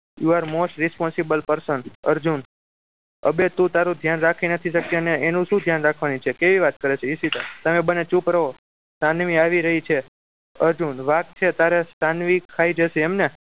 You are most responsible person Arjun અબે તુ તારું ધ્યાન રાખી નથી શકતી અને એનું શું ધ્યાન રાખવાની છે કેવી વાત કરે છે ઈશિતા તમે બંને ચુપ રહો સાનવી આવી રહી છે અર્જુન વાઘ છે શાનવી ખાઈ જશે એમ ને